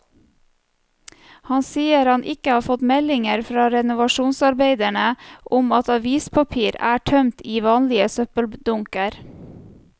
Han sier han ikke har fått meldinger fra renovasjonsarbeiderne om at avispapir er tømt i vanlige søppeldunker.